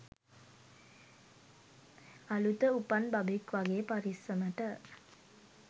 අළුත උපන් බබෙක් වගේ පරිස්සමට.